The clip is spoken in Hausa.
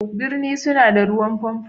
Birni suna da ruwan pompo.